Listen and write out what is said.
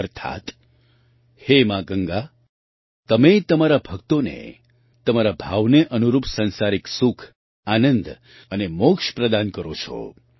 અર્થાત્ હે મા ગંગા તમે તમારા ભક્તોને તેમના ભાવને અનુરૂપ સાંસારિક સુખ આનંદ અને મોક્ષ પ્રદાન કરો છો